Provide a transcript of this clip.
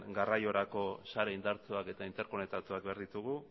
garraiorako sare indartsuak eta interkonektatuak behar ditugu